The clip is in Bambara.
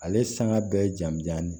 Ale sanga bɛɛ ye jamjani ye